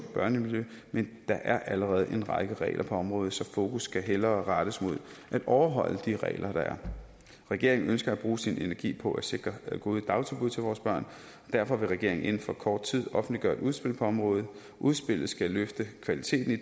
børnemiljø men der er allerede en række regler på området så fokus skal hellere rettes mod at overholde de regler der er regeringen ønsker at bruge sin energi på at sikre gode dagtilbud til vores børn og derfor vil regeringen inden for kort tid offentliggøre et udspil på området udspillet skal løfte kvaliteten i